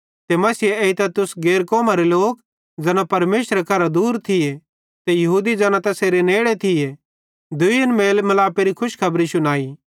ते मसीहे एइतां तुस गैर कौमरे लोक ज़ैना परमेशरे करां दूर थिये ते यहूदी ज़ैना तैसेरे नेड़े थिये दुइयन मेल मिलापेरी खुशखबरी शुनाई